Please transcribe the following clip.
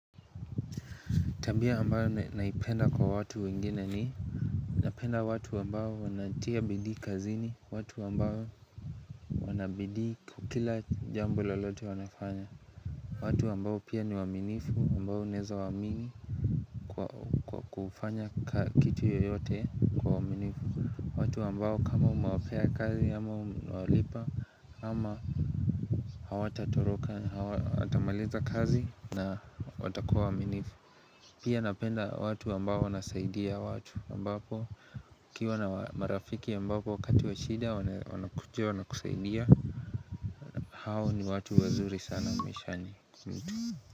Tabia ambayo naipenda kwa watu wengine ni Napenda watu ambao wanatia bidii kazini. Watu ambao wana bidii kila jambo loloto wanafanya watu ambao pia ni waaminifu ambao unaweza waamini Kwa kufanya kitu yoyote kwa uaminifu. Watu ambao kama umewapea kazi ama umewalipa ama Hawatatoroka watamaliza kazi na watakuwa waaminifu Pia napenda watu ambao wanasaidia watu ambapo ukiwa na marafiki ambapo wakati wa shida wanakuja wanakusaidia hao ni watu wazuri sana maishani.